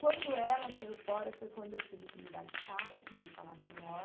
Quando ela saiu fora, foi quando eu tive que mudar de sala para uma sala maior.